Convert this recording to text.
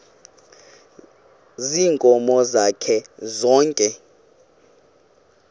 ziinkomo zakhe zonke